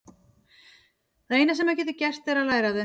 Það eina sem maður getur gert er að læra af þeim.